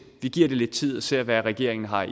vi giver det lidt tid og ser hvad regeringen har